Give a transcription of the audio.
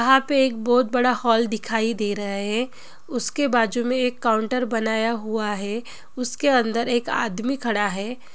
यहा पे एक बोहोत बडा हॉल दिखाई दे रह है| उसके बाजुमे एक काउन्टर बनाया हुवा है उसके अंदर एक आदमी खड़ा है ।